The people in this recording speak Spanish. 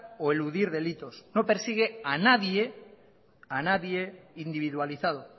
o eludir delitos no persigue a nadie individualizado